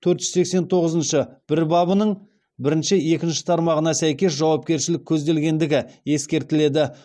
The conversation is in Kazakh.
төрт жүз сексен тоғызыншы бір бабының бірінші екінші тармағына сәйкес жауапкершілік көзделгендігі ескертіледі